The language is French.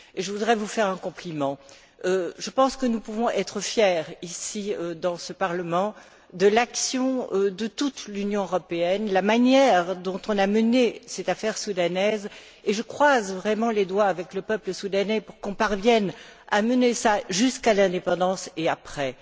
Je voudrais vous faire un compliment je pense que nous pouvons être fiers, ici dans ce Parlement, de l'action de toute l'Union européenne, de la manière dont cette affaire soudanaise a été menée et je croise vraiment les doigts, avec le peuple soudanais, pour que l'on parvienne à mener cela jusqu'à l'indépendance et après.